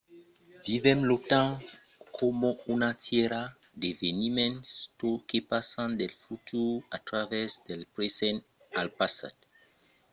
vivèm lo temps coma una tièra d’eveniments que passan del futur a travèrs del present al passat